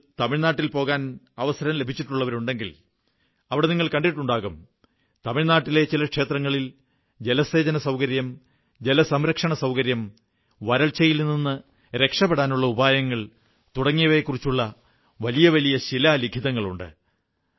നിങ്ങളിൽ തമിഴ്നാട്ടിൽ പോകാൻ അവസരം ലഭിച്ചിട്ടുള്ളവർ കണ്ടിട്ടുണ്ടാകും തമിഴ് നാട്ടിൽ ചില ക്ഷേത്രങ്ങളിൽ ജലസേചന സൌകര്യം ജലസംരക്ഷണ സൌകര്യം വരൾച്ചയിൽ നിന്നു രക്ഷപ്പെടാനുള്ള ഉപായങ്ങൾ തുടങ്ങിയവയെക്കുറിച്ചുള്ള വലിയ വലിയ ശിലാലിഖിതങ്ങൾ ഉണ്ട്